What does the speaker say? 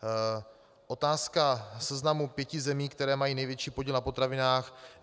Otázka seznamu pěti zemí, které mají největší podíl na potravinách.